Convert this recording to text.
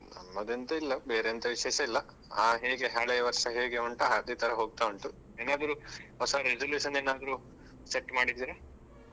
ನಮ್ಮದೆಂತ ಇಲ್ಲ ಬೇರೆ ಎಂತ ವಿಶೇಷ ಇಲ್ಲ ಹಾ ಹೇಗೆ ಹಳೆ ವರ್ಷ ಹೇಗೆ ಉಂಟ ಅದೇ ತರ ಹೋಗ್ತಾ ಉಂಟು. ಏನಾದ್ರು ಹೊಸ resolution ಏನಾದ್ರೂ set ಮಾಡಿದೀರಾ?